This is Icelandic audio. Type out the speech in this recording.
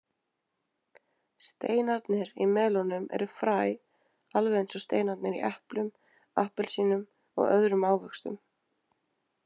Steinarnir í melónum eru fræ alveg eins og steinarnir í eplum, appelsínum og öðrum ávöxtum.